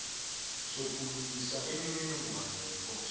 sokulungisa imininingwana eyiphoso